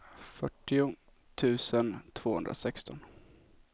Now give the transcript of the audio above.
fyrtio tusen tvåhundrasexton